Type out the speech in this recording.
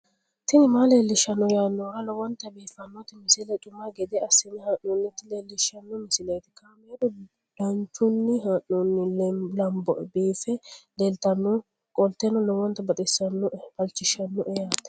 tini maa leelishshanno yaannohura lowonta biiffanota misile xuma gede assine haa'noonnita leellishshanno misileeti kaameru danchunni haa'noonni lamboe biiffe leeeltannoqolten lowonta baxissannoe halchishshanno yaate